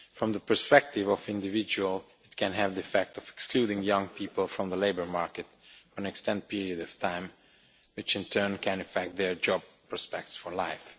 From the perspective of individuals it can have the effect of excluding young people from the labour market for an extended period of time, which in turn can affect their job prospects for life.